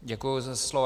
Děkuji za slovo.